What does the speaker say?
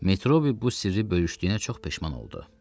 Metrobi bu sirri böyüşdüyünə çox peşman oldu.